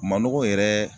Manɔgɔ yɛrɛ